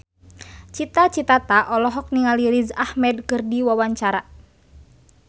Cita Citata olohok ningali Riz Ahmed keur diwawancara